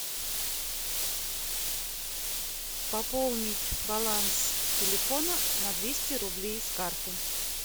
пополнить баланс телефона на двести рублей с карты